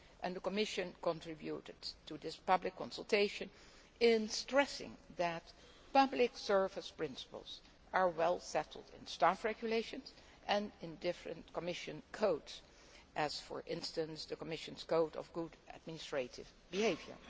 parties. The Commission contributed to this public consultation by stressing that public service principles are well settled in staff regulations and in different Commission codes, such as the Commission's Code of Good Administrative Behaviour.